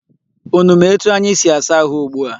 Unu ma etu anyi si asa ahụ ugbua?